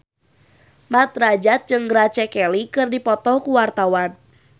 Mat Drajat jeung Grace Kelly keur dipoto ku wartawan